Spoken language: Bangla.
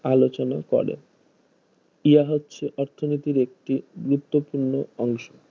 আলোচনা করে ইহা হচ্ছে অর্থনীতির একটি গুরুত্ব পূর্ণ অংশ